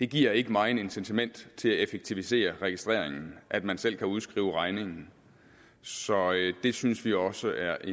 giver ikke megen incitament til at effektivisere registreringen at man selv kan udskrive regningen så det synes vi også er